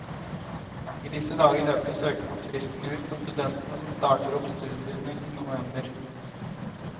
I disse dager løper søknadsfristen ut for studentene som starter opp studiene i november.